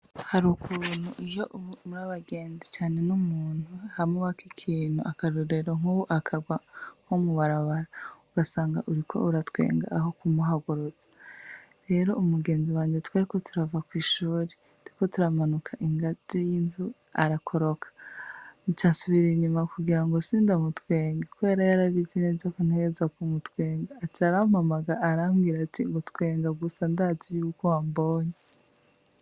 Hari uku buntu iyo muri abagenzi cane n'umuntu hamwe uwako ikintu akarura rero nk'ubu akagwa nko mu barabara ugasanga uriko uratwenga aho kumuhaguroza rero umugenzi wanje tweko turava kw'ishuri tiko turamanuka ingazi y'inzu arakoroka ica nshubiri inyuma kugra ngo sindamutwenga ko ara yarabizi neza kuntegeza ku mutwenga aca arampamaga arambwira ati ngo twenga gusa ndazi yuko ambonyi.